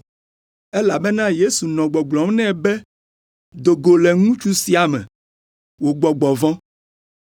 Elabena Yesu nɔ gbɔgblɔm nɛ be, “Do go le ŋutsu sia me, wò gbɔgbɔ vɔ̃.”